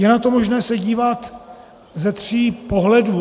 Je na to možné se dívat ze tří pohledů.